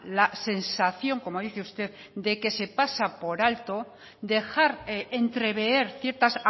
la sensación como dice usted de que se pasa por alto dejar entrever ciertas